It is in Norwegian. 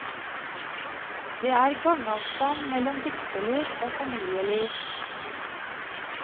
Det er gangavstand mellom dikterliv og familieliv.